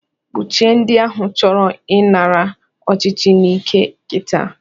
Kpochie ndi ahụ chọrọ ị nara ọchichi n'ike kita.